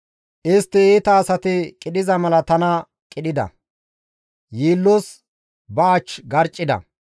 Istti iita asati qidhiza mala tana qidhida; yiillos ba ach garccida.